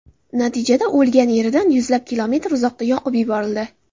Natijada o‘lgan yeridan yuzlab kilometr uzoqda yoqib yuborildi.